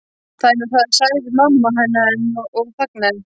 Það er nú það sagði mamma hennar enn og þagnaði.